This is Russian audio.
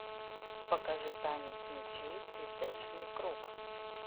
покажи танец мечей цветочный круг